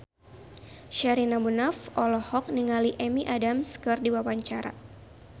Sherina Munaf olohok ningali Amy Adams keur diwawancara